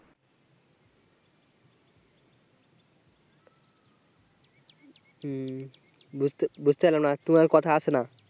হুম বুঝতে বুঝতে পারলাম না তোমার কথা আসে না